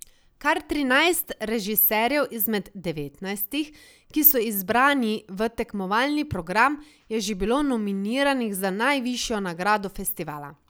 Kar trinajst režiserjev izmed devetnajstih, ki so izbrani v tekmovalni program, je že bilo nominiranih za najvišjo nagrado festivala.